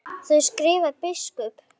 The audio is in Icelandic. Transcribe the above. Þar skrifar biskup